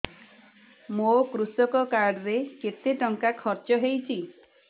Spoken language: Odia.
ମୋ କୃଷକ କାର୍ଡ ରେ କେତେ ଟଙ୍କା ଖର୍ଚ୍ଚ ହେଇଚି